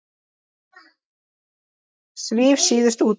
Svíf síðust út.